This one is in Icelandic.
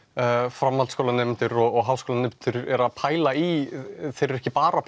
framhaldsskólanemendur og háskólanemendur eru að pæla í þeir eru ekki bara